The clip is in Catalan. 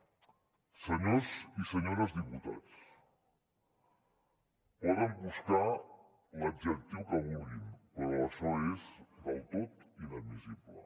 senyors i senyores diputats poden buscar l’adjectiu que vulguin però això és del tot inadmissible